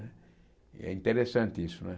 E é interessante isso né.